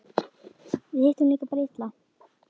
Við hittum líka bara illa.